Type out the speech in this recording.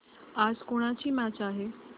आज कोणाची मॅच आहे